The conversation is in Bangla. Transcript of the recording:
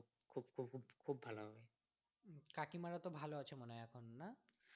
কাকিমারা তো ভালো আছে মনে হয় এখন না?